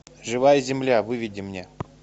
живая земля выведи мне